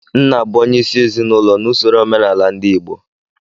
Nna bụ onyeisi ezinụlọ n'usoro omenala ndị Igbo